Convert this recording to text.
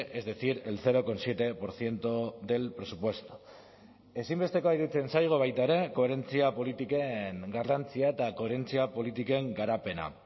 es decir el cero coma siete por ciento del presupuesto ezinbestekoa iruditzen zaigu baita ere koherentzia politiken garrantzia eta koherentzia politiken garapena